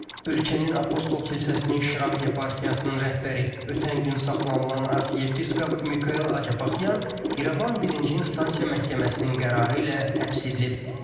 Ölkənin Apostol kilsəsinin Şirak yeparxiyasının rəhbəri, ötən gün saxlanılan arxiyepiskop Mikel Acapaxyan İrəvan birinci instansiya məhkəməsinin qərarı ilə həbs edilib.